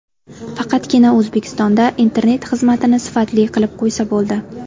Faqatgina O‘zbekistonda internet xizmatini sifatli qilib qo‘ysa bo‘ldi.